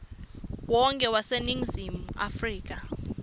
wonkhe waseningizimu afrika